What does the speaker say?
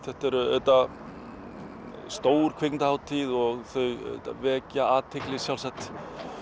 þetta er auðvitað stór kvikmyndahátíð og þau vekja athygli sjálfsagt